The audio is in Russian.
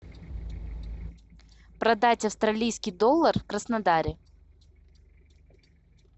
продать австралийский доллар в краснодаре